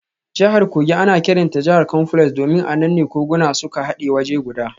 Jihar Kogi ana kiranta jihar confluence domin a nan ne koguna suka hade waje guda.